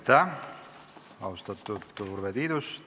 Aitäh, austatud Urve Tiidus!